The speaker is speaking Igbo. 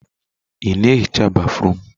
Ị na ehicha béfrụm?